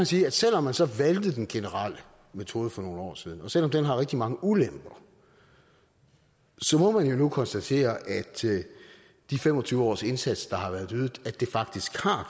sige at selv om man så valgte den generelle metode for nogle år siden og selv om den har rigtig mange ulemper så må man jo nu konstatere at de fem og tyve års indsats der har været ydet faktisk har